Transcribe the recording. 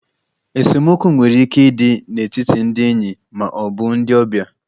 Esemokwu nwere ike ịdị n'etiti ndị enyi ma ọ bụ ndị ọbịa.